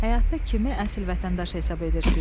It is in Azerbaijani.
Həyatda kimi əsl vətəndaş hesab edirsiniz?